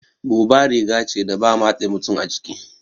Buba riga ce da ba matse mutum a jiki